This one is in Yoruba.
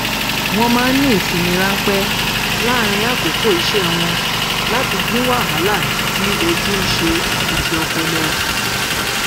wọn máa ń ní ìsinmi ránpẹ láàárín àkókò iṣẹ wón láti dín wàhálà tí ojú ń ṣe àti ti ọpọlọ